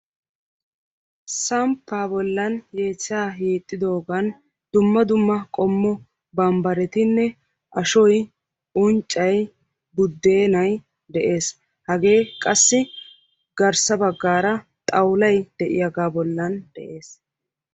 Samppa bollan yeechcha wottidoogan duma dumma qommo bambbaretinne ashshoy, unccay, oyttay, budennay de'ees; hage qassi garssa baggara xaawullay de'iyaaga bollan de'ees.